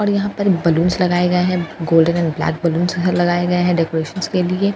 और यहाँ पर बलून्स लगाए गए हैं गोल्डन एंड ब्लैक बलून्स लगाए गए हैं डेकरैशन के लिए --